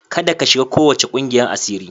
Kada ka shiga kowace kungiyar asiri.